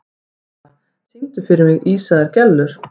Karla, syngdu fyrir mig „Ísaðar Gellur“.